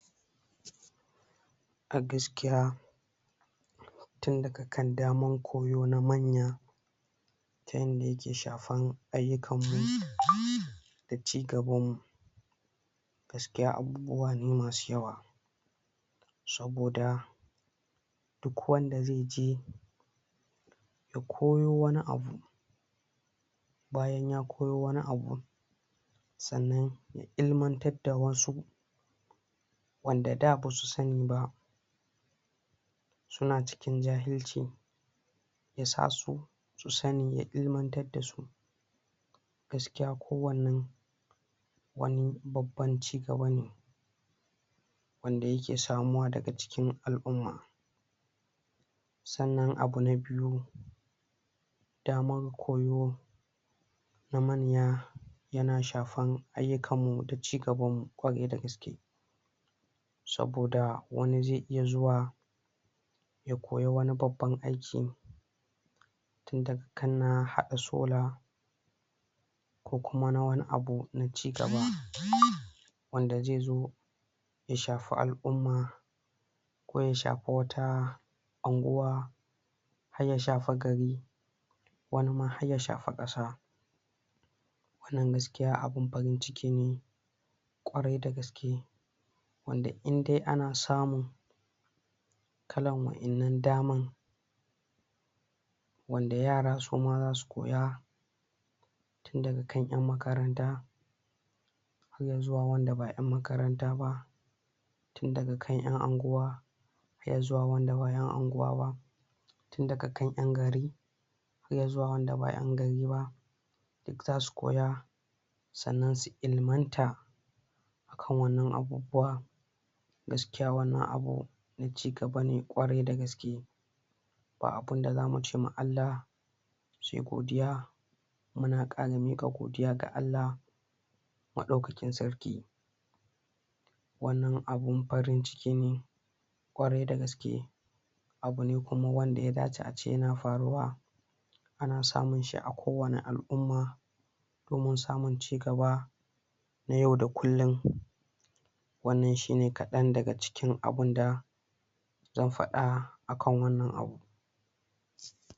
A gaskiya tun daga kan damar koyo na manya ta yanda yake shafan ayyukanmu da cigabanmu gaaskiya abubuwa ne masu yawa saboda duk wanda zai je ya koyo wani abu bayan ya koyo wani abun sannan ilmantar da wasu wanda da ba su sani ba su na cikin jahilci ya sa su sani ya ilmantar da su gaskiya ko wannan wani babban cigaba ne wanda yake samuwa daga cikin al'umma sannan abu na biyu damar koyo na manya yana shafan ayyukanmu da cigabanmu ƙwarai da gaske saboda wani zai iya zuwa ya koyi wani babbabn aiki daga kan na haɗa solar ko kuma na wani abu na cigaba? wanda zai zo ya shafi al'umma ko ya shafi wata anguwa har ya shafi gari wani ma har ya shafi ƙasa wannan gaskiya abin farin-ciki ne ƙwarai da gaske wanda inde ana samun kalan waɗannan daman wanda yara su ma za su koya daga kan ƴan makaranta har ya zuwa wanda ba ƴan makaranta ba daga kan ƴan anguwa harv ya zuwa wanda ba ƴan anguwa ba tun daga kan ƴan gari har ya zuwa wanda ba ƴan gari ba za su koya sannan su ilmanta kan wannan abubuwa gaskiya wannan abu cigaba ne ƙwarai da gaske ba abin da za mu ce ma Allah sai godiya muna ƙara miƙa godiya ga Allah Maɗaukakin Sarki wannan abin farin-ciki ne ƙwarai da gaske abu ne kuma wanda ya dace ace yana faruwa ana samun shi a kowane al'umma domin samun cigaba na yau da kullum wannan shi ne kaɗan daga cikin abin da zan faɗa akan wannan abu.